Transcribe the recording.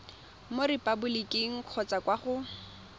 mo repaboliking kgotsa kwa go